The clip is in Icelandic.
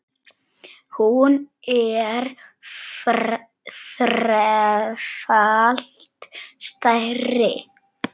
Hún er þrefalt stærri.